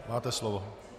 Máte slovo.